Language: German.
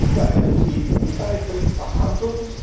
Aber über einen EU Beitritt verhandeln?